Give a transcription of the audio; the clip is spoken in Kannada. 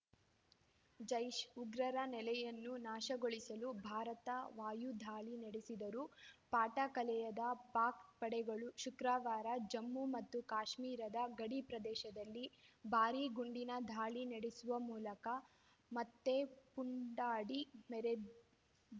ಜೈಷ್‌ ಉಗ್ರರ ನೆಲೆಯನ್ನು ನಾಶಗೊಳಿಸಲು ಭಾರತ ವಾಯದಾಳಿ ನಡೆಸಿದರೂ ಪಾಠ ಕಲಿಯದ ಪಾಕ್‌ ಪಡೆಗಳು ಶುಕ್ರವಾರ ಜಮ್ಮು ಮತ್ತು ಕಾಶ್ಮೀರದ ಗಡಿಪ್ರದೇಶದಲ್ಲಿ ಭಾರೀ ಗುಂಡಿನ ದಾಳಿ ನಡೆಸುವ ಮೂಲಕ ಮತ್ತೆ ಪುಂಡಾಡಿ ಮೆರೆ